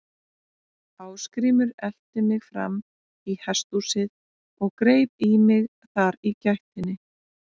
Ásgrímur elti mig fram í hesthúsið og greip í mig þar í gættinni.